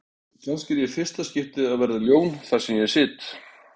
Kannski er ég í fyrsta skipti að verða ljón þar sem ég sit.